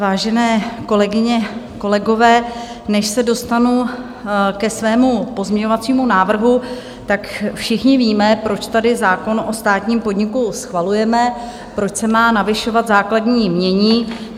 Vážené kolegyně, kolegové, než se dostanu ke svému pozměňovacímu návrhu, tak všichni víme, proč tady zákon o státním podniku schvalujeme, proč se má navyšovat základní jmění.